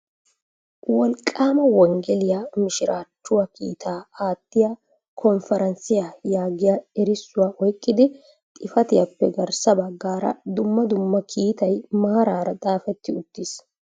" Wolqqaama wenggeliya mishirachchuwaa kiitaa aattiya Konferanssiya " yaagiyaa erissuwa oyqqidi xifatiyaappe garssa bagggaara dumma dumma kiitay maarara xaafeti uttiis.